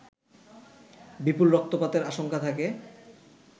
বিপুল রক্তপাতের আশঙ্কা থাকে